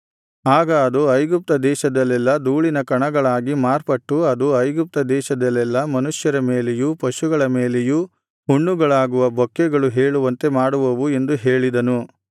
ಆಗ ಅದು ಐಗುಪ್ತ ದೇಶದಲ್ಲೆಲ್ಲಾ ಧೂಳಿನ ಕಣಗಳಾಗಿ ಮಾರ್ಪಟ್ಟು ಅದು ಐಗುಪ್ತ ದೇಶದಲ್ಲೆಲ್ಲಾ ಮನುಷ್ಯರ ಮೇಲೆಯೂ ಪಶುಗಳ ಮೇಲೆಯೂ ಹುಣ್ಣುಗಳಾಗುವ ಬೊಕ್ಕೆಗಳು ಏಳುವಂತೆ ಮಾಡುವವು ಎಂದು ಹೇಳಿದನು